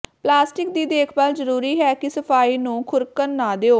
plastic ਦੀ ਦੇਖਭਾਲ ਜ਼ਰੂਰੀ ਹੈ ਕਿ ਸਫਾਈ ਨੂੰ ਖੁਰਕਣ ਨਾ ਦਿਓ